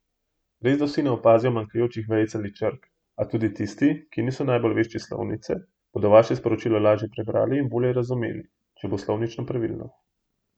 Resda vsi ne opazijo manjkajočih vejic ali črk, a tudi tisti, ki niso najbolj vešči slovnice, bodo vaše sporočilo lažje prebrali in bolje razumeli, če bo slovnično pravilno.